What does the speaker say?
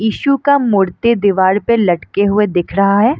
Issue का मूर्ति दिवार पे लटके हुए दिख रहा है।